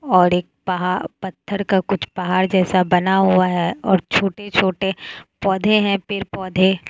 और एक पहा पत्थर का कुछ पहाड़ जैसा बना हुआ है और छोटे छोटे पौधे है पेड़ पौधे।